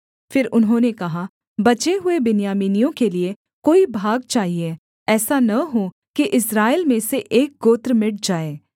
फिर उन्होंने कहा बचे हुए बिन्यामीनियों के लिये कोई भाग चाहिये ऐसा न हो कि इस्राएल में से एक गोत्र मिट जाए